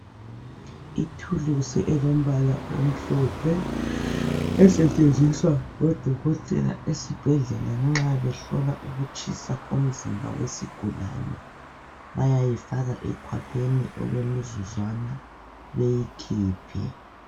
Ithuluzi elombala omhlophe esetshenziswa ngodokotela ezibhedla nxa behlola ukutshisa komzimba wesigulani bayayifaka ekhwapheni okwemizuzwana beyikhiphe.